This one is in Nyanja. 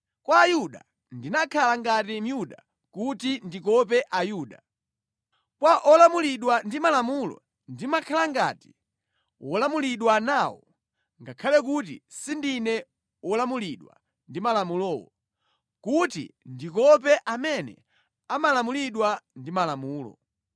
Kwa Ayuda ndimakhala ngati Myuda kuti ndikope Ayuda. Kwa olamulidwa ndi Malamulo ndimakhala ngati wolamulidwa nawo (ngakhale kuti sindine wolamulidwa ndi Malamulowo) kuti ndikope amene amalamulidwa ndi Malamulo.